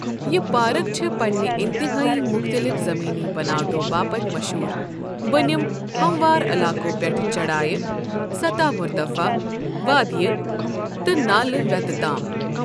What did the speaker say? یہِ پارَکھ چھَ پنِنہِ انتہٲئی مختلف زمینی بناوٹو باپتھ مشہور، بۄنِم، ہموار علاقَو پٮ۪ٹھٕ چَڑایہِ، سطح مرتفع، وادیہِ، تہٕ نالہٕ وِتہِ تام۔